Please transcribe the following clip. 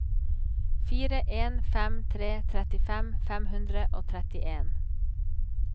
fire en fem tre trettifem fem hundre og trettien